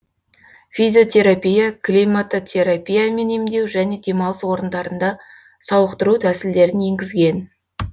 физиотерапия климатотерапиямен емдеу және демалыс орындарында сауықтыру тәсілдерін енгізген